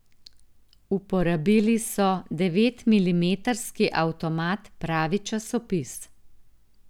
Uporabili so devetmilimetrski avtomat, pravi časopis.